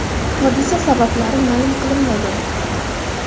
Hodisa sabablari ma’lum qilinmagan.